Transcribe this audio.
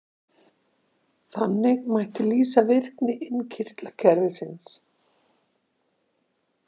Þannig mætti lýsa virkni innkirtlakerfisins.